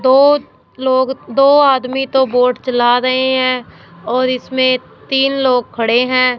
तो लोग दो आदमी तो बोट चला रहे हैं और इसमें तीन लोग खड़े हैं।